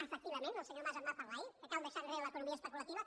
efectivament el senyor mas en va parlar ahir que cal deixar enrere l’economia especulativa